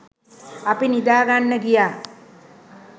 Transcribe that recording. අපි නිදා ගන්න ගියා.